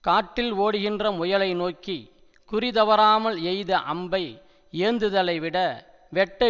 காட்டில் ஓடுகின்ற முயலை நோக்கி குறிதவறாமல் எய்த அம்பை ஏந்துதலைவிட வெட்ட